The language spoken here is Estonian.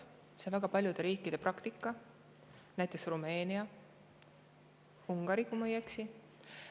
Aga see on väga paljude riikide praktika, näiteks Rumeenia ja Ungari, kui ma ei eksi.